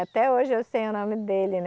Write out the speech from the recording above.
Até hoje eu sei o nome dele, né?